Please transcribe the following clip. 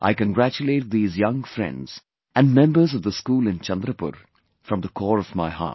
I congratulate these young friends and members of the school in Chandrapur, from the core of my heart